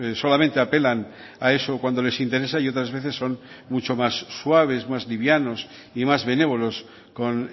solamente apelan a eso cuando les interesa y otras veces son mucho más suaves más livianos y más benévolos con